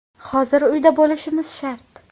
Hozir uyda bo‘lishimiz shart.